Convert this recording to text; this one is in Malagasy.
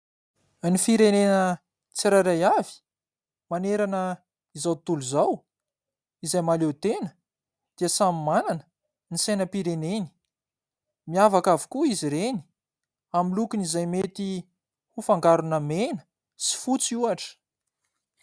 Ny firenena tsirairay avy manerana izao tontolo izao izay mahaleo tena dia samy manana ny sainam-pireneny, miavaka avokoa izy ireny amin'ny lokony izay mety ho fangarona mena sy fotsy ohatra.